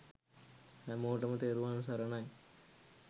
හැමෝටම තෙරුවන් සරණයි